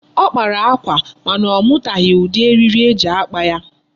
Ọ kpara akwa mana ọ mụtaghi ụdị eriri eji akpa ya.